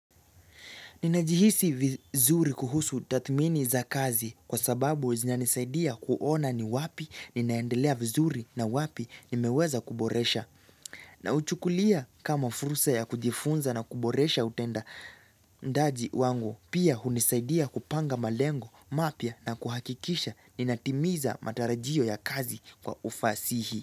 Ninajihisi vizuri kuhusu tathmini za kazi kwa sababu zinanisaidia kuona ni wapi ninaendelea vizuri na wapi nimeweza kuboresha. Nauchukulia kama fursa ya kujifunza na kuboresha utenda ndaji wangu pia hunisaidia kupanga malengo mapya na kuhakikisha ninatimiza matarajio ya kazi kwa ufasihi.